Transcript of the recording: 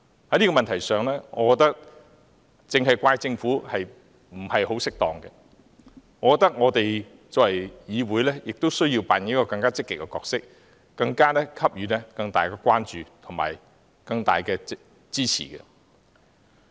在這問題上，我覺得只責怪政府不太適當，我們作為議員亦須扮演更積極的角色，給予更大的關注和支持。